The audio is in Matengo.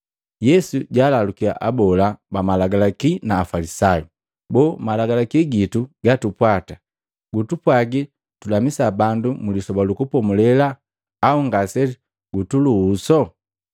Yesu jaalalukiya abola bamalagalaki na Afalisayu, “Boo, Malagalaki gitu gatupwata gutupwagi tulamisa bandu mlisoba lu Kupomulela au ngasegutuluhuso?”